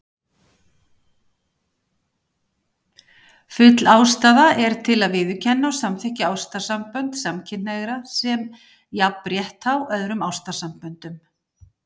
Full ástæða er til að viðurkenna og samþykkja ástarsambönd samkynhneigðra sem jafnrétthá öðrum ástarsamböndum.